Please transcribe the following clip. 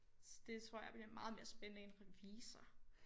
Så det tror jeg bliver meget mere spændende end revisor